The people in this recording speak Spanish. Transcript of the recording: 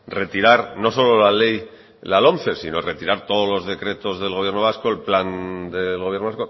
retirar no solo la ley de la lomce sino retirar todos los decretos del gobierno vasco el plan del gobierno